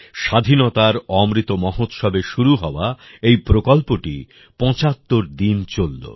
স্বাধীনতার অমৃত মহোৎসবে শুরু হওয়া এই প্রকল্পটি পঁচাত্তর দিন চলল